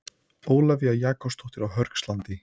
Ólafía Jakobsdóttir á Hörgslandi